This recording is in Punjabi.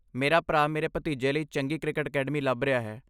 ਮੇਰਾ ਭਰਾ ਮੇਰੇ ਭਤੀਜੇ ਲਈ ਚੰਗੀ ਕ੍ਰਿਕਟ ਅਕੈਡਮੀ ਲੱਭ ਰਿਹਾ ਹੈ।